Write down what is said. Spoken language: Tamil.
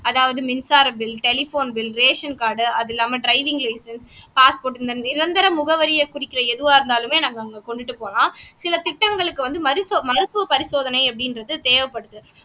அதாவது மின்சார bill telephone bill ration card அது இல்லாம டிரைவிங் லைசென்ஸ் பாஸ்போர்ட் நிரந்தர முகவரியை குறிக்கிற எதுவா இருந்தாலுமே நாங்க அங்க வந்துட்டு போலாம் சில திட்டங்களுக்கு வந்து மருத் மருத்துவ பரிசோதனை அப்படின்றது தேவைப்படுது